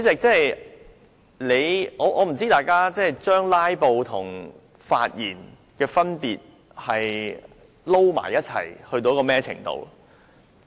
主席，我不知道大家把"拉布"和發言混淆到甚麼程度。